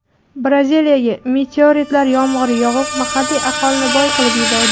Braziliyaga meteoritlar yomg‘iri yog‘ib, mahalliy aholini boy qilib yubordi.